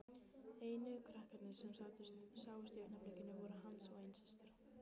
Einu krakkarnir sem sáust í augnablikinu voru hans eigin systur.